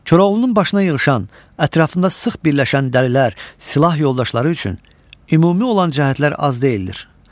Koroğlunun başına yığışan, ətrafında sıx birləşən dəlilər, silah yoldaşları üçün ümumi olan cəhətlər az deyildir.